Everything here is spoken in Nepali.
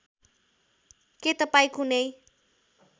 के तपाईँ कुनै